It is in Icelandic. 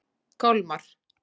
Kolmar